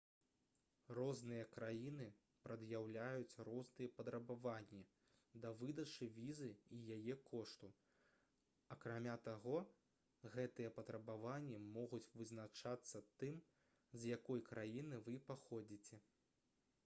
розныя краіны прад'яўляюць розныя патрабаванні да выдачы візы і яе кошту акрамя таго гэтыя патрабаванні могуць вызначацца тым з якой краіны вы паходзіце